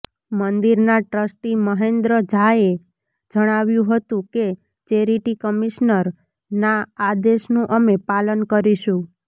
મંદિરના ટ્રસ્ટી મહેન્દ્ર ઝાએ જણાવ્યુ હતું કે ચેરિટી કમિશનરના આદેશનું અમે પાલન કરીશું